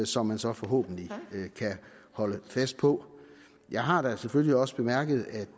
som man så forhåbentlig kan holde fast på jeg har da selvfølgelig også bemærket at